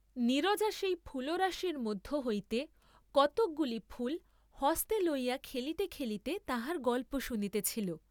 নীরজা সেই ফুলরাশির মধ্য হইতে কতকগুলি ফুল হস্তে লইয়া খেলিতে খেলিতে তাহার গল্প শুনিতেছিল।